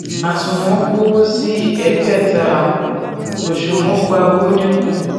àsùnwọn gbowo sí ẹgbẹta àpò òsùnwọn gbà owó dínkù